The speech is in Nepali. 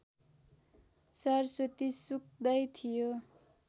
सरस्वती सुक्दै थियो